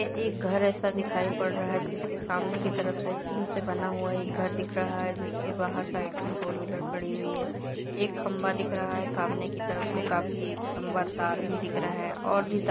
घर ऐसा दिखाई पड़ रहा है जिसके सामने की तरफ से टीन से बना हुआ एक घर दिख रहा है जिसके बाहर साइड मे फोरव्हीलर खड़ी हुई है। एक खंभा दिख रहा है। सामने की तरफ से काफी लंबा तार भी दिख रहा हैं। और भी--